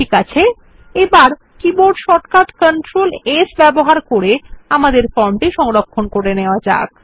ঠিক আছে এবার কীবোর্ড শর্টকাট কন্ট্রোল S ব্যবহার করে আমাদের ফর্ম সংরক্ষণ করা যাক